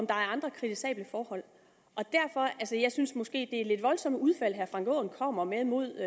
andre kritisable forhold jeg synes måske at det er lidt voldsomme udfald herre frank aaen kommer med mod